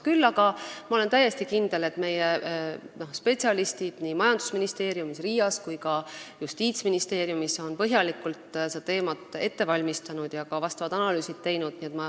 Küll aga ma olen täiesti kindel, et spetsialistid majandusministeeriumis, RIA-s ja ka Justiitsministeeriumis on põhjalikult seda teemat ette valmistanud ja ka analüüsid teinud.